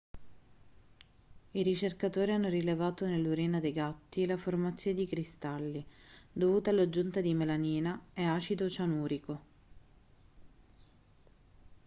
i ricercatori hanno rilevato nell'urina dei gatti la formazione di cristalli dovuti all'aggiunta di melamina e acido cianurico